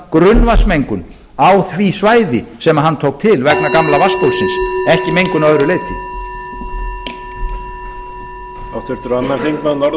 grunnvatnsmengun á því svæði sem hann tók til vegna gamla vatnsbólsins ekki mengun að öðru leyti